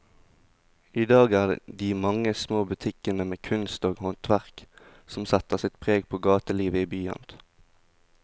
I dag er det de mange små butikkene med kunst og håndverk som setter sitt preg på gatelivet i byen.